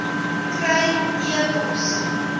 kry e pos